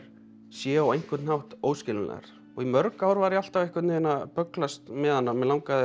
séu á einhvern hátt óskiljanlegar í mörg ár var ég alltaf að bögglast með hana mig langaði